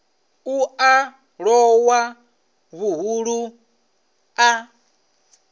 u a lowa vhuhulu a